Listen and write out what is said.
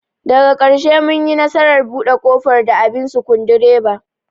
Daga karshe mun yi nasarar bude kofar da abin sukundiraba.